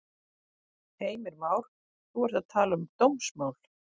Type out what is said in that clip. Heimir Már: Þú ert að tala um dómsmál?